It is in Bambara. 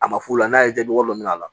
A ma f'u la n'a y'i jaabɔgɔ min a la